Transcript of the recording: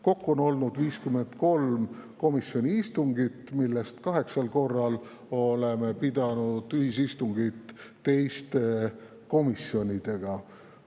Kokku on olnud 53 komisjoni istungit, millest 8 on olnud ühisistungid teiste komisjonidega.